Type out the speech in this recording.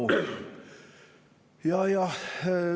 Hea ettekandja, teie aeg!